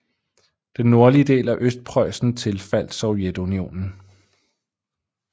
Den nordlige del af Østpreussen tilfaldt Sovjetunionen